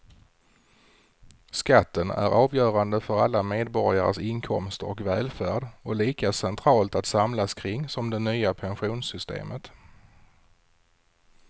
Skatten är avgörande för alla medborgares inkomster och välfärd och lika centralt att samlas kring som det nya pensionssystemet.